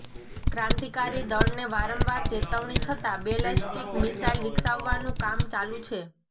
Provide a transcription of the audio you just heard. ક્રાંતિકારી દળને વારંવાર ચેતવણી છતાં બેલેસ્ટિક મિસાઇલ વિકસાવવાનું કામ ચાલું છે